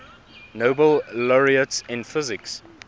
nobel laureates in physics